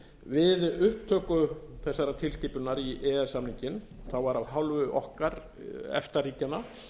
við upptöku þessarar tilskipunar í e e s samninginn var af hálfu okkar efta ríkjanna